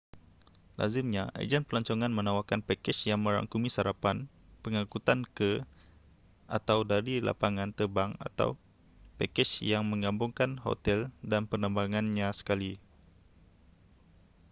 lazimnya ejen pelancongan menawarkan pakej yang merangkumi sarapan pengangkutan ke/dari lapangan terbang atau pakej yang menggabungkan hotel dan penerbangannyan sekali